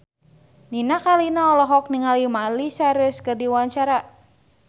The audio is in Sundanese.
Nini Carlina olohok ningali Miley Cyrus keur diwawancara